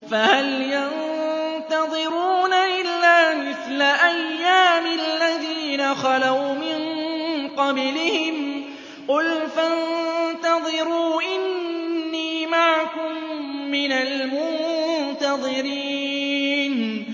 فَهَلْ يَنتَظِرُونَ إِلَّا مِثْلَ أَيَّامِ الَّذِينَ خَلَوْا مِن قَبْلِهِمْ ۚ قُلْ فَانتَظِرُوا إِنِّي مَعَكُم مِّنَ الْمُنتَظِرِينَ